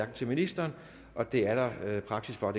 til ministeren og det er der praksis for